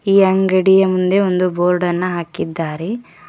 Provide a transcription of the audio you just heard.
ಈ ಅಂಗಡಿಯ ಮುಂದೆ ಒಂದು ಬೋರ್ಡ್ ಅನ್ನ ಹಾಕಿದ್ದಾರೆ.